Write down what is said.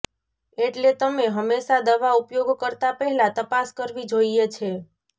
એટલે તમે હંમેશા દવા ઉપયોગ કરતા પહેલા તપાસ કરવી જોઈએ છે